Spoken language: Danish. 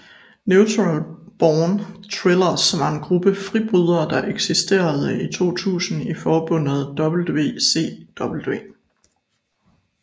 Natural Born Thrillers var en gruppe fribrydere der eksisterede i 2000 i forbundet WCW